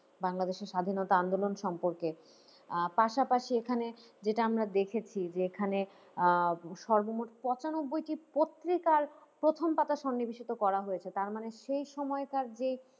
বাংলাদেশী স্বাধীনতা আন্দোলন সম্পর্কে, আহ পাশাপাশি এখানে যেটা আমরা দেখেছি যে এখানে আহ সর্বমোট পঁচানব্বইটি পত্রিকার প্রথম পাতা সন্নিবেশিত করা হয়েছে যে তার মানে সেই সময়কার যে,